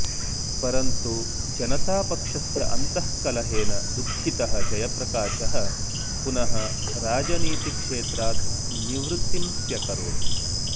परन्तु जनतापक्षस्य अन्तःकलहेन दुःखितः जयप्रकाशः पुनः राजनीतिक्षेत्रात् निवृत्तिं स्व्यकरोत्